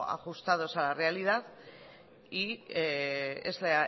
ajustados a la realidad y es la